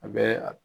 A bɛ a